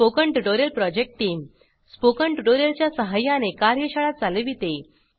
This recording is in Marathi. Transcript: spoken tutorial project team spoken tutorial च्या सहाय्याने कार्यशाळा चालविते